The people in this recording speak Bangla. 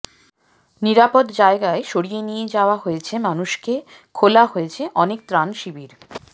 নিরাপদ জায়গায় সরিয়ে নিয়ে যাওয়া হয়েছে মানুষকে খোলা হয়েছে অনেক ত্রাণ শিবির